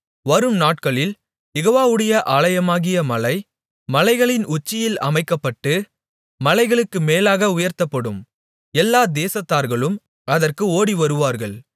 வரும்நாட்களில் யெகோவாவுடைய ஆலயமாகிய மலை மலைகளின் உச்சியில் அமைக்கப்பட்டு மலைகளுக்கு மேலாக உயர்த்தப்படும் எல்லா தேசத்தார்களும் அதற்கு ஓடிவருவார்கள்